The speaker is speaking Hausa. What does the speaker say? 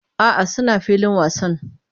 A'a, suna filin wasan